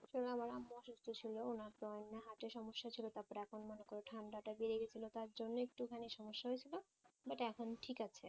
আসলে আমার আম্মু অসুস্থ ছিল ওনার তো এমনি heart এর সমস্যা ছিল তারপরে এখন মনে করো ঠাণ্ডাটা বেড়ে গেছিল তার জন্যে একটুখানি সমস্যা হয়েছিল but এখন ঠিক আছে